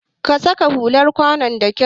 Ka saka hular kwanon da kyau!